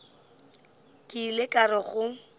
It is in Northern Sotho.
ke ile ka re go